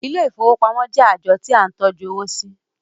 Ilé ìfowópamọ́ jẹ́ ààjọ tí à ń tọ́jú owó sí.